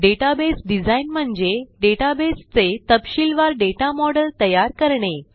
database design म्हणजे databaseचे तपशीलवार दाता मॉडेल तयार करणे